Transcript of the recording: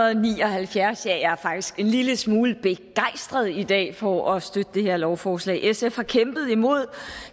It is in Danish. og ni og halvfjerds ja jeg er faktisk en lille smule begejstret i dag for at støtte det her lovforslag sf har kæmpet imod